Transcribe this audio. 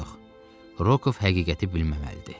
Yox, Rokov həqiqəti bilməməlidir.